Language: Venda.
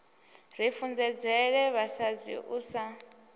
ri funzedzela vhasadzi u sa